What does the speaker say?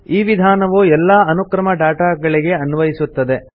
ಈ ವಿಧಾನವು ಎಲ್ಲಾ ಅನುಕ್ರಮ ಡಾಟಾಗಳಿಗೆ ಅನ್ವಯಿಸುತ್ತದೆ